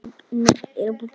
Við Jakob erum kvittir